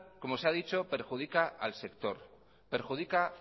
como se ha dicho perjudica al sector perjudica